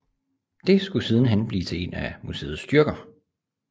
Det skulle sidenhen blive til et af museets styrker